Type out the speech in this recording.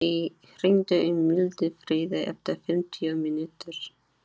Marí, hringdu í Mildfríði eftir fimmtíu mínútur.